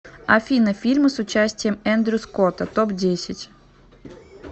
афина фильмы с участием эндрю скотта топ десять